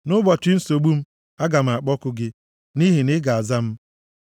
Nʼụbọchị nsogbu m, aga m akpọku gị, nʼihi na ị ga-aza m.